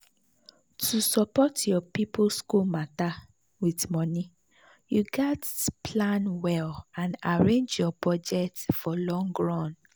to support your people school matter with money you gats plan well and arrange your budget for long run.